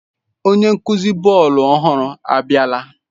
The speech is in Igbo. Onye nkuzi bọọlụ ọhụrụ abiala?